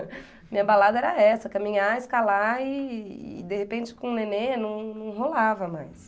Minha balada era essa, caminhar, escalar e e de repente com o nenê não não rolava mais.